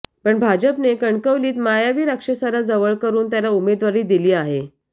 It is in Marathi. पण भाजपने कणकवलीत मायावी राक्षसाला जवळ करून त्याला उमेदवारी दिली आहे